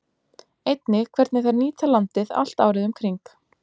Einnig hvernig þær nýta landið allt árið um kring.